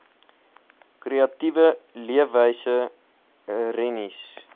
kreatiewe leefwyse rennies